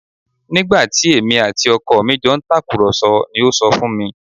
Nígbà tí èmi àti ọkọ mi jọ ń tàkùrọ̀sọ ni ó sọ fún mi